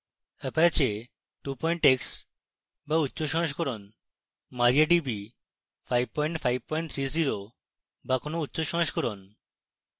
apache 2 x বা উচ্চ সংস্করণ